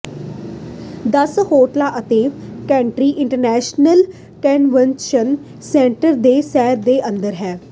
ਦਸ ਹੋਟਲਾਂ ਅਤੇ ਕੈਂਟਕੀ ਇੰਟਰਨੈਸ਼ਨਲ ਕੰਨਵੈਨਸ਼ਨ ਸੈਂਟਰ ਦੇ ਸੈਰ ਦੇ ਅੰਦਰ ਹੈ